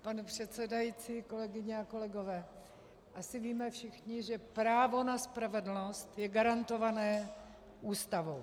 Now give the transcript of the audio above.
Pane předsedající, kolegyně a kolegové, asi víme všichni, že právo na spravedlnost je garantované Ústavou.